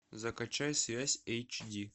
закачай связь эйч ди